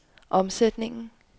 omsætningen